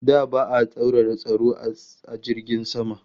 Da ba'a tsaurara tsaro sosai a jiragen sama